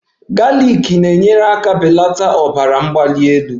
Galiki na-enyere aka belata ọbara mgbali elu